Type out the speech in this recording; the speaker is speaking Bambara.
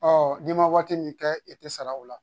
Ɔ n'i ma waati min kɛ i tɛ sara o la